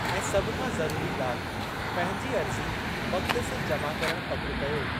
ऐं सभु खां ज़रुरी ॻाल्हि पंहिंजी अर्ज़ी वक़ति सिरि जमा करणु पकि कयो।